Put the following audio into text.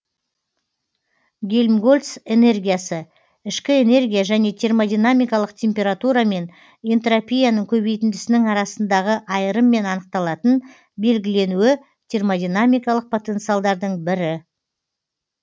гельмгольц энергиясы ішкі энергия және термодинамикалық температура мен энтропияның көбейтіндісінің арасындағы айырыммен анықталатын белгіленуі термодинамикалық потенциалдардың бірі